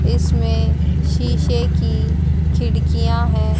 इसमें शीशे की खिड़कियां हैं।